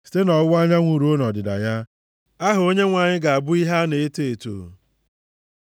Site nʼọwụwa anyanwụ ruo nʼọdịda ya, aha Onyenwe anyị ga-abụ ihe a na-eto eto.